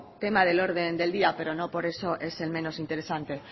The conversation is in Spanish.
tema del orden del día pero no por eso es el menos interesante